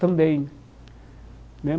Também né.